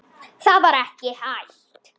Það var ekki hægt.